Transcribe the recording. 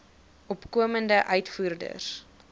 opkomende uitvoerders